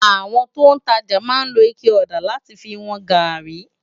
Awòn tó n tàjá má n ló iké òdá làtí fi wòn gàrí